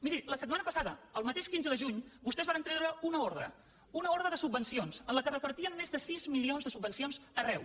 miri la setmana passada el mateix quinze de juny vostès varen treure una ordre una ordre de subvencions en què repartien més de sis milions de subvencions arreu